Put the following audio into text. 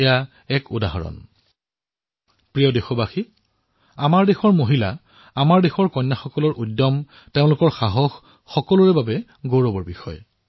মোৰ মৰমৰ দেশবাসীসকল আমাৰ দেশৰ মহিলা কন্যাৰ উদ্যমশীলতা তেওঁলোকৰ সাহস সকলোৰে বাবে গৌৰৱৰ বিষয়